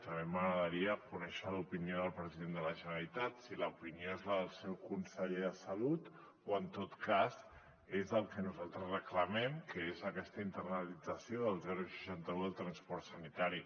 també m’agradaria conèixer l’opinió del president de la generalitat si l’opinió és la del seu conseller de salut o en tot cas és el que nosaltres reclamem que és aquesta internalització del seixanta un i del transport sanitari